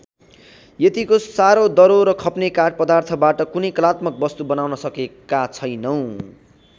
यतिको साह्रो दह्रो र खप्ने काठ पदार्थबाट कुनै कलात्मक वस्तु बनाउन सकेका छैनौँ।